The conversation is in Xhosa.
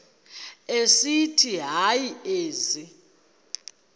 esithi hayi ezi